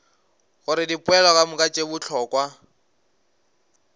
gore dipoelo kamoka tše bohlokwa